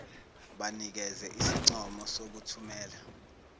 banikeze isincomo sokuthumela